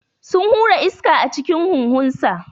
Sun hura iska a cikin huhunsa.